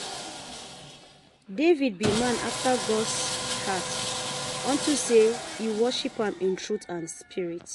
David be man after God's heart unto say he worship am in truth and spirit